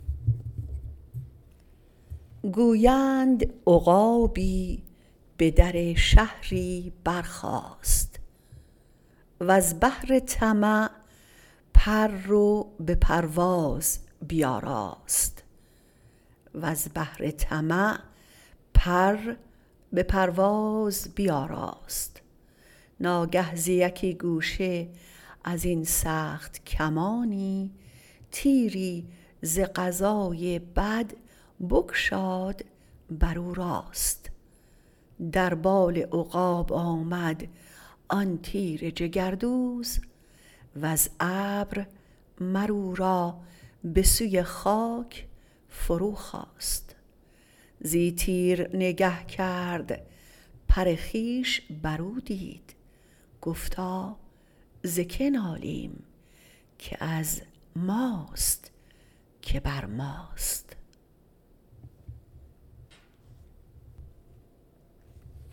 گویند عقابی به در شهری برخاست وز بهر طمع پر به پرواز بیاراست ناگه ز یکی گوشه ازین سخت کمانی تیری ز قضای بد بگشاد بر او راست در بال عقاب آمد آن تیر جگردوز وز ابر مر او را به سوی خاک فرو خواست زی تیر نگه کرد پر خویش بر او دید گفتا ز که نالیم که از ماست که بر ماست